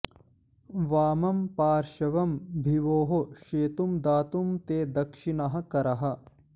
वामं पार्श्वं विभोः शेतुं दातुं ते दक्षिणः करः